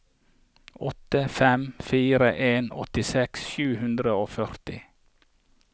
åtte fem fire en åttiseks sju hundre og førti